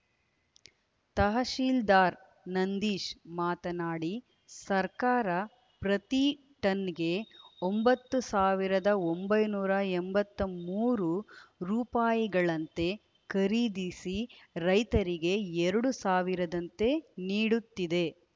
ತಹಶೀಲ್ದಾರ್ ನಂದೀಶ್ ಮಾತನಾಡಿ ಸರ್ಕಾರ ಪ್ರತಿ ಟನ್‍ಗೆ ಒಂಬತ್ತು ಸಾವಿರದ ಒಂಬೈನೂರ ಎಂಬತ್ತ್ ಮೂರು ರೂಪಾಯಿಗಳಂತೆ ಖರೀದಿಸಿ ರೈತರಿಗೆ ಎರಡು ಸಾವಿರದಂತೆ ನೀಡುತ್ತಿದೆ